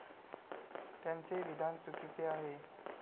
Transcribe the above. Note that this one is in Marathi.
त्यांचे विधान चुकीचे आहे.